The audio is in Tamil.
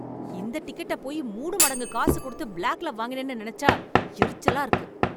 இந்த டிக்கெட்ட போயி மூணு மடங்கு காசுக் கொடுத்து பிளாக்ல வாங்கினேன்னு நெனச்சா எரிச்சலா இருக்கு.